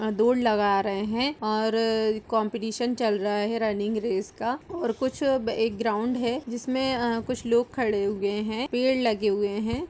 आ दौड़ लगा रहे हैं और काम्पिटिशन चल रहा है रनिंग रेस का और कुछ एक ग्राउन्ड है जिसमे अ कुछ लोग खड़े हुए हैं पेड़ लगे हुए हैं।